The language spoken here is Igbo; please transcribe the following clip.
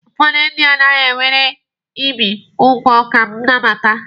Ụfọdụ ndị anaghi ewere ibi ugwu ka nnabata.